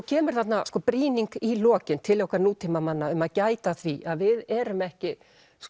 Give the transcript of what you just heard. kemur þarna brýning í lokin til okkar nútímamanna um að gæta að því að við erum ekki